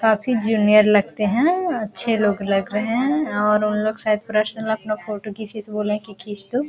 काफी जूनियर लगते हैं अच्छे लोग लग रहे हैं और उनलोग शायद पर्सनल अपना फोटो किसी से बोले है कि खींच दो।